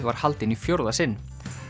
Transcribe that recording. var haldin í fjórða sinn